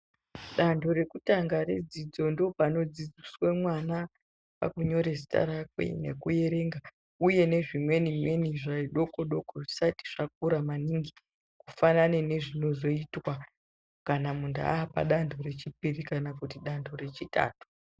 Dando rekutanga redzidzo ndopanodzidziswe mwana kunyore zita rakwe nekuyerenga uye nezvimweni mweni zvidoko doko zvisati zvakura maningi kufanane nezvinozoitwa kana mundu apa dando rechipiri kana kuti dando rechitatu